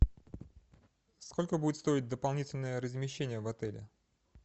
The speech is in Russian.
сколько будет стоить дополнительное размещение в отеле